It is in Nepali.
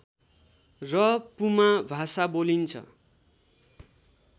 र पुमा भाषा बोलिन्छ